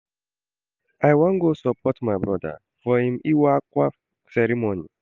I wan go support my broda for im Iwa akwa ceremony.